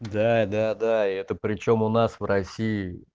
да да да это причём у нас в россии